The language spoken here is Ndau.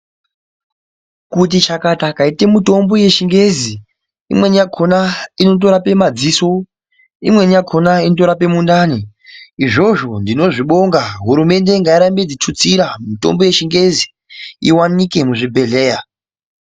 Kuti chakata kaite mitombo yeChiNgezi. Imweni yakona inotorape madziso. Imweni inotorape mundani. Izvozvo ndinozvibonga hurumende ngairambe ichitutsira mitombo yechiyungu iwanike muzvibhedhleya.